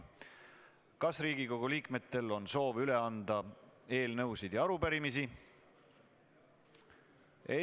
Kas Riigikogu liikmetel on soovi üle anda eelnõusid ja arupärimisi?